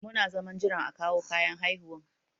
Muna zaman jiran a kawo kayan haihuwan.